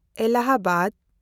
Allahabad